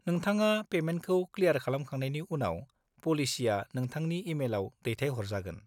-नोंथाङा पेमेन्टखौ क्लियार खालामखांनायनि उनाव, पलिसिआ नोंथांनि इमेलआव दैथायहरजागोन।